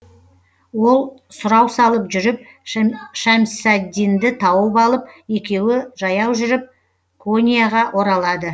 ол сұрау салып жүріп шәмсаддинді тауып алып екеуі жаяу жүріп коньяға оралады